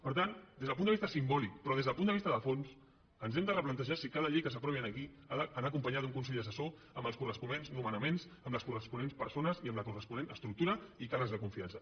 per tant des del punt de vista simbòlic però des del punt de vista de fons ens hem de replantejar si cada llei que s’aprovi aquí ha d’anar acompanyada d’un consell assessor amb els corresponents nomenaments amb les corresponents persones i amb la corresponent estructura i càrrecs de confiança